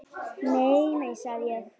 Nei, nei, sagði ég.